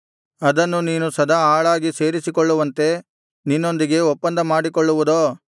ಅದನ್ನು ನೀನು ಸದಾ ಆಳಾಗಿ ಸೇರಿಸಿಕೊಳ್ಳುವಂತೆ ನಿನ್ನೊಂದಿಗೆ ಒಪ್ಪಂದ ಮಾಡಿಕೊಳ್ಳುವುದೋ